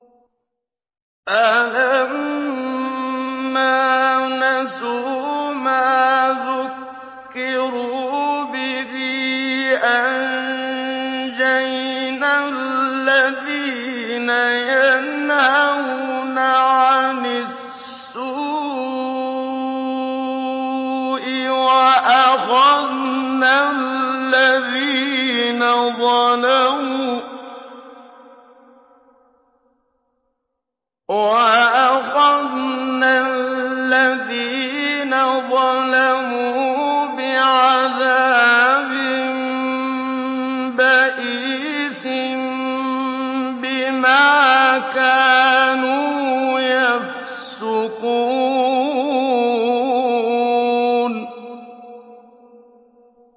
فَلَمَّا نَسُوا مَا ذُكِّرُوا بِهِ أَنجَيْنَا الَّذِينَ يَنْهَوْنَ عَنِ السُّوءِ وَأَخَذْنَا الَّذِينَ ظَلَمُوا بِعَذَابٍ بَئِيسٍ بِمَا كَانُوا يَفْسُقُونَ